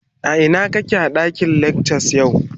kake a dakin lecture yau?